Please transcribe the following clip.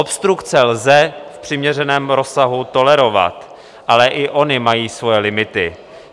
Obstrukce lze v přiměřeném rozsahu tolerovat, ale i ony mají svoje limity.